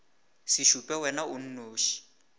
se šupe wena o nnoši